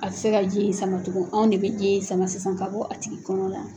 A tɛ se ka ji in sama tugun anw de bɛ ji in sama sisan ka bɔ a tigi kɔnɔ la.